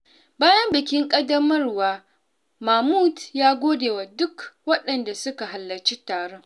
Bayan bikin ƙaddamar wa, Mahmud ya gode wa duka waɗanda suka halarci taron.